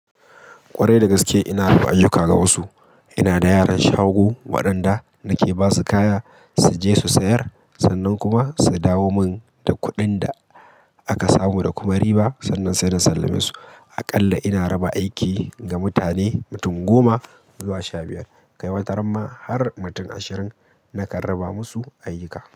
Kwarai da gaske ina yiwa ayyuka ga wasu. Ina da yaran shago waɗanda nake ba su kaya su je su sayar sannan kuma su dawo mun da kuɗin da aka samu da kuma riba, sannan sai na sallame su. Aƙalla ina raba aiki ga mutane mutum goma zuwa sha biyar, ga wata ramma har mutum ashirin na kan raba musu ayyuka.